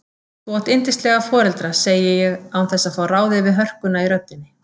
Þú átt yndislega foreldra, segi ég án þess að fá ráðið við hörkuna í röddinni.